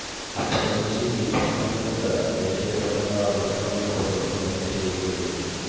అప్పటి నుంచి ఈ పథకం కింద దేశవ్యాప్తంగా ఆరు లక్షల మంది ప్రజలకు లబ్ధి చేకూరింది